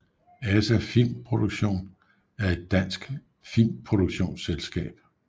ASA Film Production er en dansk filmproduktionsselskab